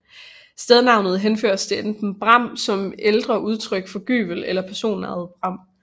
Stednavnet henføres til enten bram som ældre udtryk for gyvel eller personnavnet Bram